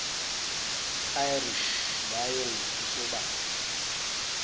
irish lions kusobala